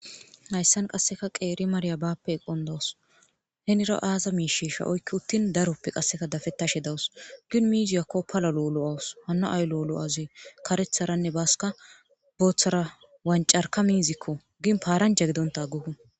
hayssan qasseka qeeri marya baappe eqon dawus henira aaza miisheesha oykki uttin daroppe qasseka dafettashe dawus gin miiziyakko pala lo7olo7awus hanna ay lo7lo7aze karetharanne baaska booththara wancarka miizikko gin paaranja gidonta guh